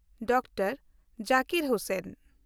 doctor Zakir Hussain